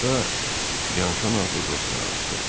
Yolda Byanşon adlı dostuna rast gəldi.